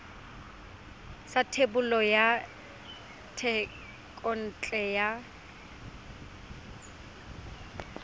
sa thebolo ya thekontle ya